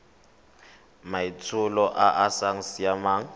maitsholo a a sa siamang